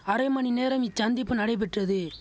அரை மணி நேரம் இச்சந்திப்பு நடைபெற்றது